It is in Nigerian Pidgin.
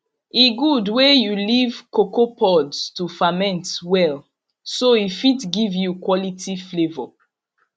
e good wey you leave cocoa pods to ferment well so e fit give you quality flavour